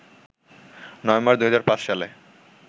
November ২০০৫ সালে